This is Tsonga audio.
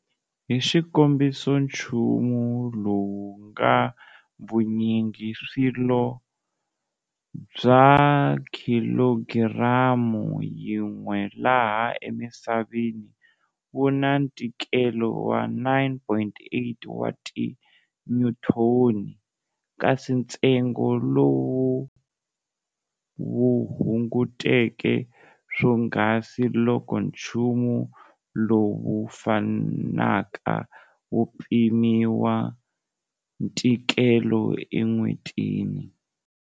Hi xikombiso nchumu lowu ngana vunyingiswilo bya khilogiramu yin'we laha emisaveni wu na ntikelo wa 9.8 wa ti nyuthoni, kasi ntsengo lowu wu hunguteka swonghasi loko chumu lowu fanaka wu pimiwa ntikelo e n'wetini.